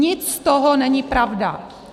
Nic z toho není pravda.